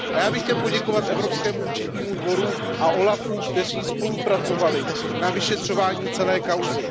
A já bych chtěl poděkovat Evropskému účetnímu dvoru a úřadu OLAF, kteří spolupracovali na vyšetřování celé kauzy.